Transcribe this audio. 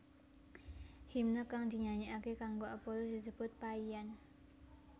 Himne kang dinyanyike kanggo Apollo disebut paian